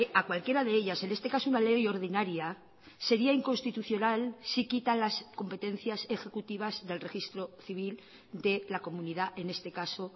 a cualquiera de ellas en este caso una ley ordinaria sería inconstitucional si quita las competencias ejecutivas del registro civil de la comunidad en este caso